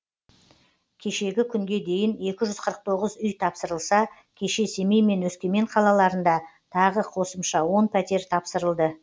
кешегі күнге дейін екі жүз қырық тоғыз үй тапсырылса кеше семей мен өскемен қалаларында тағы қосымша он пәтер тапсырылды